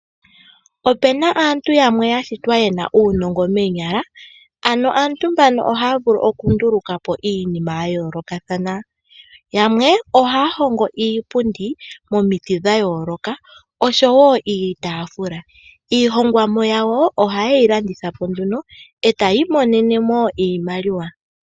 Opena aantu yamwe yashitwa yena uunongo meenyala, ano aantu mbaka ohaya vulu okundulukapo iinima ya yolokathana yamwe ohaya hongo iipundi momiti dhayoloka oshowo iitafula. Iihongonwa yawo ohaye yi landithapo nduno etayi monenemo iimaliwa.